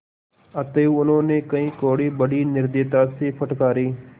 अतएव उन्होंने कई कोडे़ बड़ी निर्दयता से फटकारे